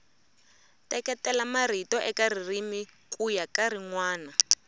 teketela marito eka ririmi kuya ka rinwana